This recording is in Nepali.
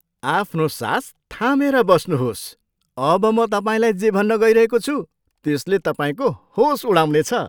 आफ्नो सास थामेर बस्नुहोस्। अब म तपाईँलाई जे भन्न गइरहेको छु, त्यसले तपाईँको होस उडाउनेछ।